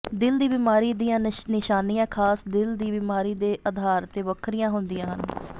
ਦਿਲ ਦੀ ਬਿਮਾਰੀ ਦੀਆਂ ਨਿਸ਼ਾਨੀਆਂ ਖਾਸ ਦਿਲ ਦੀ ਬਿਮਾਰੀ ਦੇ ਅਧਾਰ ਤੇ ਵੱਖਰੀਆਂ ਹੁੰਦੀਆਂ ਹਨ